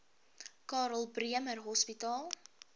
karl bremer hospitaal